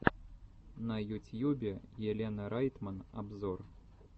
на ютьюбе елена райтман обзор